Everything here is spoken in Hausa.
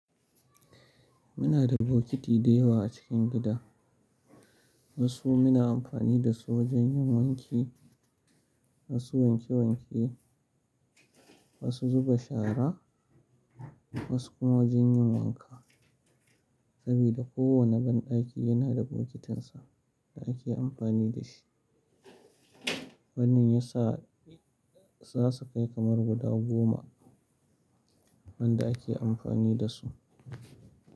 Muna da bokiti da yawa a cikin gida. Wasu muna amfani da su wajan yin wanki, wasu wanke wanke, wasu zuba shara, wasu kuma wajan yin wanka. Sabida kowanne banɗaki yana da bokitinsa da ake amfani da shi. Wannan yasa za su kai kamar guda goma wanda ake amfani da su.